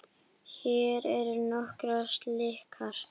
Hér eru nokkrar slíkar